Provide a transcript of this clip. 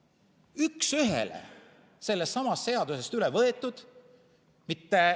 See on üks ühele sellestsamast seadusest üle võetud.